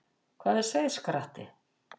Hvað er seiðskratti?